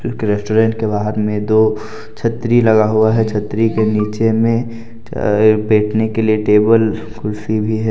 एक रेस्टोरेंट के बाहर में दो छतरी लगा हुआ है छतरी के नीचे में बैठने के लिए टेबल कुर्सी भी है।